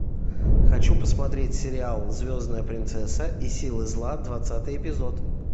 хочу посмотреть сериал звездная принцесса и силы зла двадцатый эпизод